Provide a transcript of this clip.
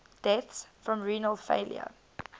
deaths from renal failure